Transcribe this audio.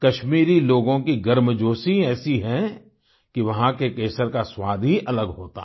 कश्मीरी लोगों की गर्मजोशी ऐसी है कि वहाँ के केसर का स्वाद ही अलग होता है